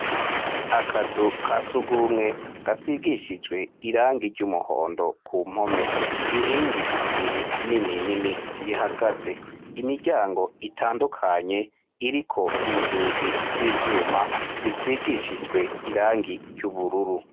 Akazu ka sugumwe gasigishijwe irangi ry' umuhondo ku mpome inkingi zibiri nini nini zihagaze imiryango itandukanye uriko inzugi z' ivyuma zisigishijwe irangi ry' ubururu.